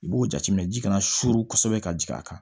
I b'o jateminɛ ji kana surun kosɛbɛ ka jigin a kan